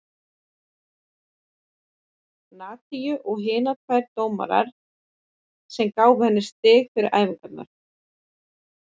Nadiu og hinar tvær dómarar sem gáfu henni stig fyrir æfingarnar.